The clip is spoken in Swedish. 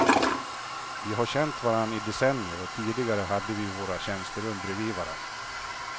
Vi har känt varandra i decennier och tidigare hade vi våra tjänsterum bredvid varandra.